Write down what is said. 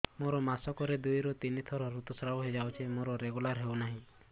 ମୋର ମାସ କ ରେ ଦୁଇ ରୁ ତିନି ଥର ଋତୁଶ୍ରାବ ହେଇଯାଉଛି ମୋର ରେଗୁଲାର ହେଉନାହିଁ